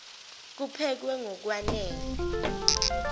kuphekwe ngok wanele